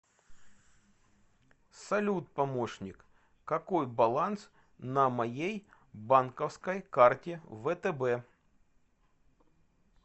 салют помощник какой баланс на моей банковской карте втб